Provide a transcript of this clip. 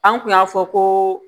An kun y'a fɔ ko